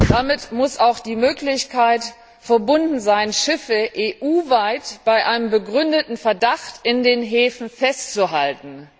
Damit muss auch die Möglichkeit verbunden sein, EU weit Schiffe bei einem begründeten Verdacht in den Häfen festzuhalten.